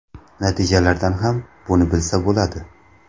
Natijalardan ham buni bilsa bo‘ladi”.